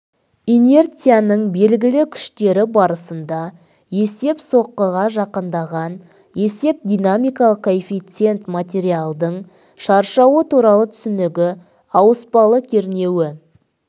инерцияның белгілі күштері барысында есеп соққыға жақындаған есеп динамикалық коэффициент материалдың шаршауы туралы түсінігі ауыспалы кернеуі